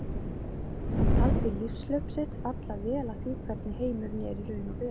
Hann taldi lífshlaup sitt falla vel að því hvernig heimurinn er í raun og veru.